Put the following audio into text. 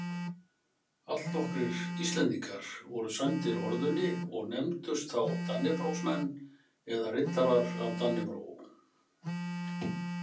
Allnokkrir Íslendingar voru sæmdir orðunni og nefndust þá dannebrogsmenn eða riddarar af dannebrog.